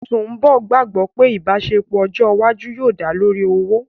Sùḿbọ̀ gbàgbọ́ pé ìbáṣepọ̀ ọjọ́ iwájú yóò dá lórí ọ̀wọ̀